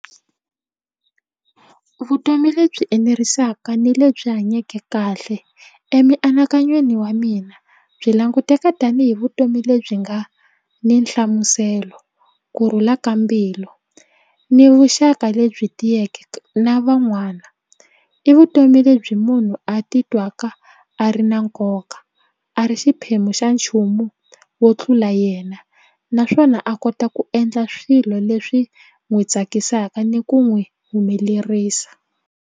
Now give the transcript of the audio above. Vutomi lebyi enerisaka ni lebyi hanyake kahle emianakanyweni wa mina byi languteka tanihi vutomi lebyi nga ni nhlamuselo kurhula ka mbilu ni vuxaka lebyi tiyeke na van'wana i vutomi lebyi munhu a ti twaka a ri na nkoka a ri xiphemu xa nchumu wo tlula yena naswona a kota ku endla swilo leswi n'wi tsakisaka ni ku n'wi humelerisa.